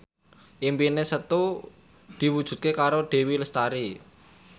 impine Setu diwujudke karo Dewi Lestari